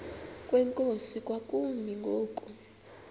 kwenkosi kwakumi ngoku